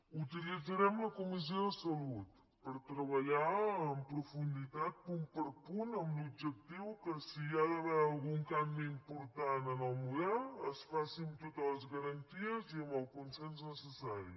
utilitzarem la comissió de salut per treballar en profunditat punt per punt amb l’objectiu que si hi ha d’haver algun canvi important en el model es faci amb totes les garanties i amb el consens necessari